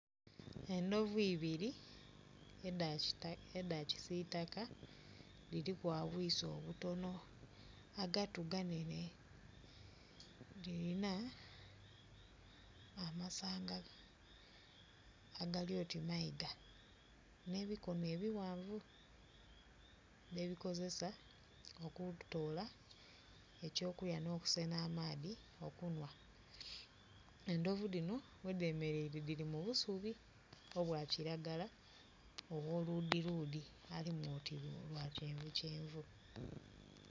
Endhovu ibiri eda kisitaka, dhiriku obwiso obutono agatu ganene dhirina amasanga agalioti meiga ne bikono ebiwanvu bye kozesa okutola ekyo kulya no kusena amaadhi okunhwa. Endhovi dino wedemereire dhiri mu busubi obwa kilagala owoludhiludhi alimu oti lwa kyenvu kyenvu